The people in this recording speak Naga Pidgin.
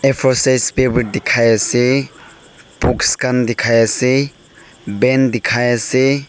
a four size paper dikai ase box kan dikai ase pen dikai ase.